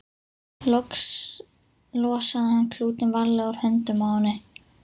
Loks losaði hann klútinn varlega úr höndunum á henni.